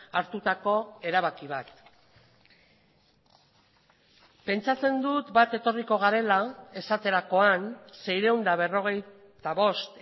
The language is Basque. hartutako erabaki bat pentsatzen dut bat etorriko garela esaterakoan seiehun eta berrogeita bost